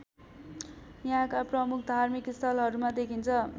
यहाँका प्रमुख धार्मिक स्थलहरूमा देखिन्छ